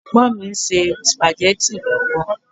Ẹ̀gbọ́n mi ń ṣe Spaghetti lọ́wọ́